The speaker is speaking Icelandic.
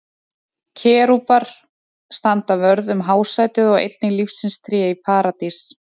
Kerúbar standa vörð um hásætið og einnig lífsins tré í Paradís.